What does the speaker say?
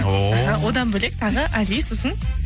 ооо одан бөлек тағы али сосын